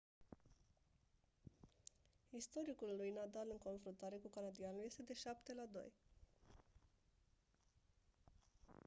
istoricul lui nadal în confruntare cu canadianul este de 7-2